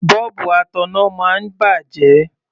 Bọ́ọ̀bù ataná máa ń bàjẹ́.